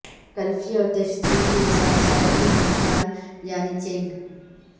قلفی اور طشتری کے ساتھ چائے کے مرتبان یعنی چینک